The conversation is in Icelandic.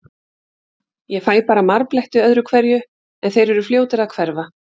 Ég fæ bara marbletti öðru hverju, en þeir eru fljótir að hverfa.